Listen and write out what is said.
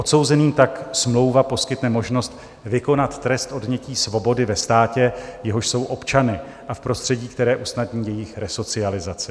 Odsouzeným tak smlouva poskytne možnost vykonat trest odnětí svobody ve státě, jehož jsou občany, a v prostředí, které usnadní jejich resocializaci.